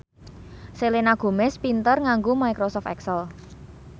Selena Gomez pinter nganggo microsoft excel